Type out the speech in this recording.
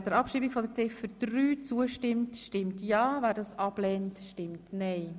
Wer der Abschreibung von Ziffer 3 zustimmt, stimmt ja, wer dies ablehnt, stimmt nein.